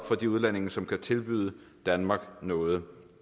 for de udlændinge som kan tilbyde danmark noget